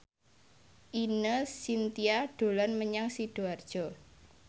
Ine Shintya dolan menyang Sidoarjo